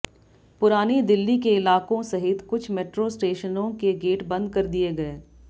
पुरानी दिल्ली के इलाकों सहित कुछ मेट्रो स्टेशनों के गेट बंद कर दिए गए